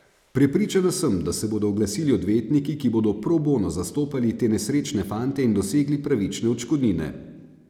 Prepričana sem, da se bodo oglasili odvetniki, ki bodo pro bono zastopali te nesrečne fante in dosegli pravične odškodnine.